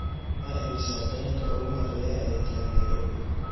waa imisa tareenka ugu horeeya ee taga nairobi